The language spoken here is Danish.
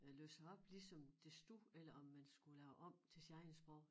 Øh læse op ligesom det stod eller om man skulle lave om til sit eget sprog